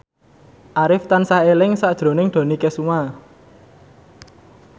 Arif tansah eling sakjroning Dony Kesuma